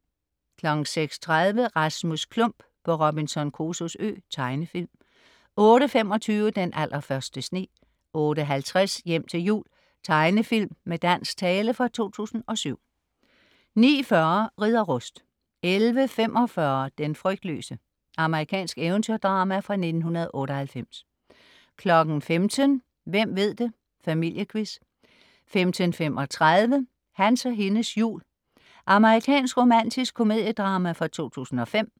06.30 Rasmus Klump på Robinson Crusoes Ø. Tegnefilm 08.25 Den allerførste sne 08.50 Hjem til jul. Tegnefilm med dansk tale fra 2007 09.40 Ridder Rust 11.45 Den frygtløse. Amerikansk eventyrdrama fra 1998 15.00 Hvem ved det! Familiequiz 15.35 Hans og hendes jul. Amerikansk romantisk komediedrama fra 2005